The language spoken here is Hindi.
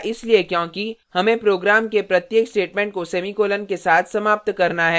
ऐसा इसलिए क्योंकि हमें program के प्रत्येक statement को semicolon के साथ समाप्त करना है